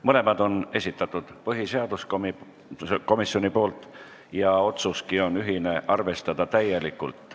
Mõlemad on esitanud põhiseaduskomisjon ja otsuski on ühine: arvestada täielikult.